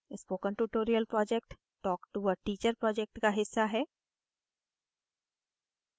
spoken tutorial project talk to a teacher project का हिस्सा है